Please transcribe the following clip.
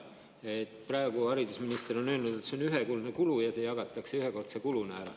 Haridusminister on öelnud, et see on ühekordne kulu ja see jagatakse ühekordse kuluna ära.